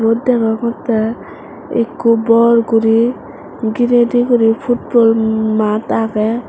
yot deongotte ekko bor guri gire de guri football maat agey.